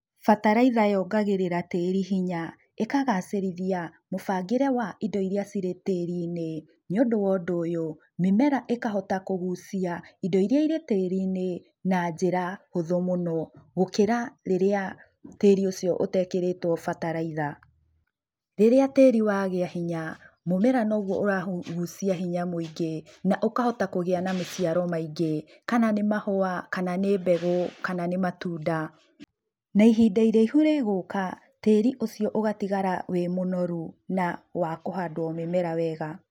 Bataraitha yongagĩrĩra tĩri hinya, ĩkagacĩrithia mũbangĩre wa indo iria irĩ tĩri-inĩ. Nĩũndũ wa ũndũ ũyũ, mĩmera ĩkahota kũgucia indo iria irĩ tĩri-inĩ na njĩra hũthũ mũno, gũkĩra rĩrĩa tĩri ũcio ũtekĩrĩtũo bataraitha. Rĩrĩa tĩri wagĩa hinya, mũmera noguo ũragucia hinya mũingi na ũkahota kũgĩa na maciaro maingĩ, kana nĩ mahũa kana nĩ mbegu, kana nĩ matunda. Na ihinda iraihu rĩgũka tĩri ũcio ũgatigara wĩ mũnoru na wa kũhandũo mĩmera wega.